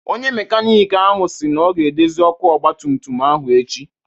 Onye mekanịk ahụ si na ọ ga-edozi ọkụ ọgba tum tum ahụ echi.